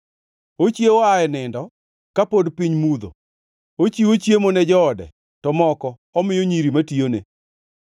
Ochiewo aa e nindo ka pod piny mudho, ochiwo chiemo ne joode to moko omiyo nyiri matiyone.